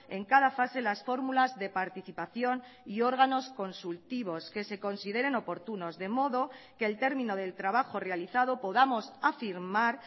en cada fase las fórmulas de participación y órganos consultivos que se consideren oportunos de modo que el término del trabajo realizado podamos afirmar